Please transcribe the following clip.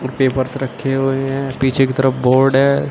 Papyrus से रखे हुए हैं पीछे की तरफ बोर्ड है।